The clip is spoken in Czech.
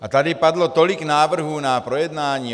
A tady padlo tolik návrhů na projednání.